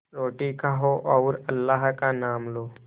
रोटी खाओ और अल्लाह का नाम लो